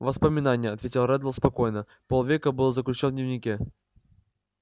воспоминание ответил реддл спокойно полвека был заключён в дневнике